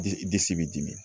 Disi bɛ dimi